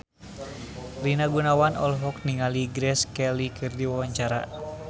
Rina Gunawan olohok ningali Grace Kelly keur diwawancara